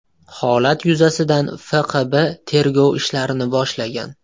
Holat yuzasidan FQB tergov ishlarini boshlagan.